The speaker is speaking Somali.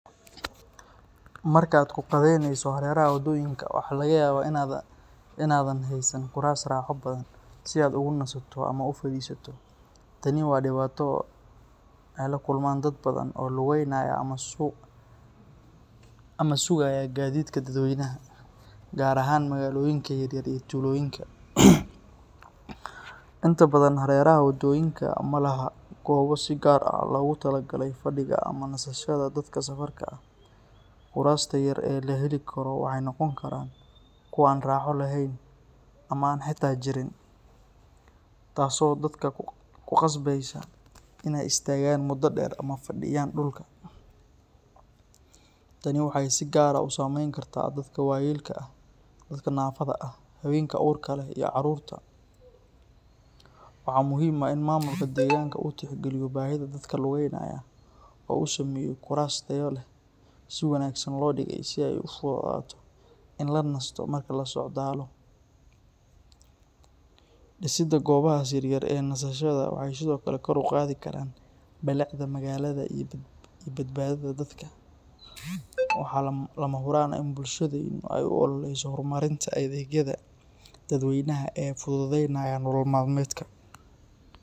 Markaad ku qadayneyso hareeraha wadooyinka, waxaa laga yaabaa in aadan haysan kuraas raaxo badan si aad ugu nasto ama u fadhiisato. Tani waa dhibaato ay la kulmaan dad badan oo lugaynaya ama sugaya gaadiidka dadweynaha, gaar ahaan magaalooyinka yaryar iyo tuulooyinka. Inta badan hareeraha wadooyinka ma laha goobo si gaar ah loogu tala galay fadhiga ama nasashada dadka safarka ah. Kuraasta yar ee la heli karo waxay noqon karaan kuwo aan raaxo lahayn ama aan xitaa jirin, taasoo dadka ku khasbeysa inay istaagaan muddo dheer ama fadhiyaan dhulka. Tani waxay si gaar ah u saameyn kartaa dadka waayeelka ah, dadka naafada ah, haweenka uurka leh, iyo carruurta. Waxaa muhiim ah in maamulka deegaanka uu tixgeliyo baahida dadka lugaynaya oo uu sameeyo kuraas tayo leh oo si wanaagsan loo dhigay si ay u fududaato in la nasto marka la socdaalo. Dhisidda goobahaas yar yar ee nasashada waxay sidoo kale kor u qaadi karaan bilicda magaalada iyo badbaadada dadka. Waxaa lama huraan ah in bulshadeenu ay u ololeyso horumarinta adeegyada dadweynaha ee fududeynaya nolol maalmeedka.